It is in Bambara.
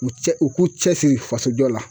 U cɛ u k'u cɛsiri faso jɔ la